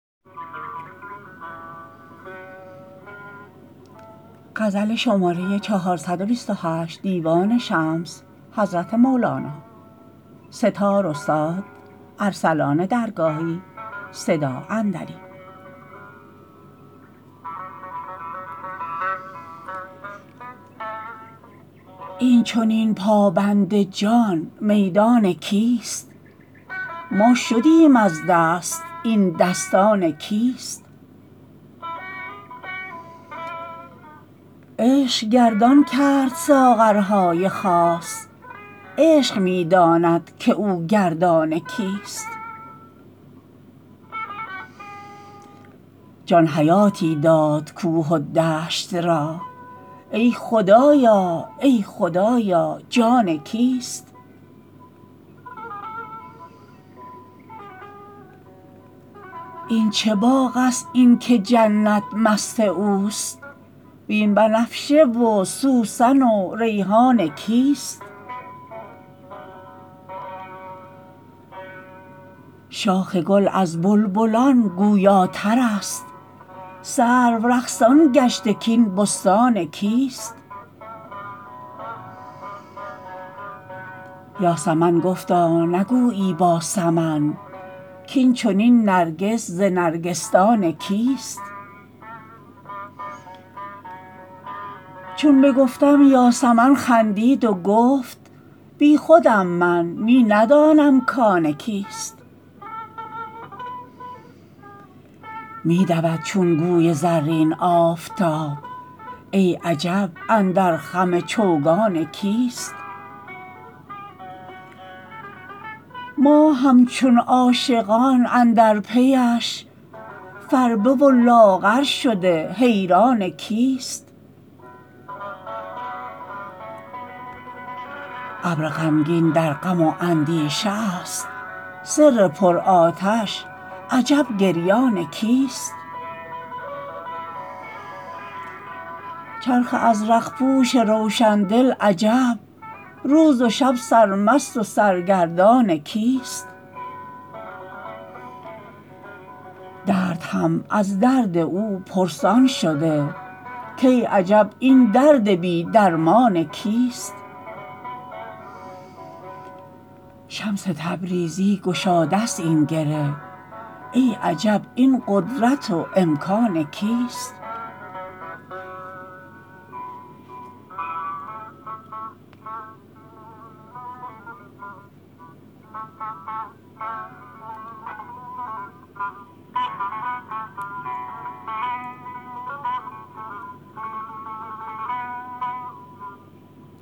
این چنین پابند جان میدان کیست ما شدیم از دست این دستان کیست عشق گردان کرد ساغرهای خاص عشق می داند که او گردان کیست جان حیاتی داد کوه و دشت را ای خدایا ای خدایا جان کیست این چه باغست این که جنت مست اوست وین بنفشه و سوسن و ریحان کیست شاخ گل از بلبلان گویاترست سرو رقصان گشته کاین بستان کیست یاسمن گفتا نگویی با سمن کاین چنین نرگس ز نرگسدان کیست چون بگفتم یاسمن خندید و گفت بیخودم من می ندانم کان کیست می دود چون گوی زرین آفتاب ای عجب اندر خم چوگان کیست ماه همچون عاشقان اندر پیش فربه و لاغر شده حیران کیست ابر غمگین در غم و اندیشه است سر پرآتش عجب گریان کیست چرخ ازرق پوش روشن دل عجب روز و شب سرمست و سرگردان کیست درد هم از درد او پرسان شده کای عجب این درد بی درمان کیست شمس تبریزی گشاده ست این گره ای عجب این قدرت و امکان کیست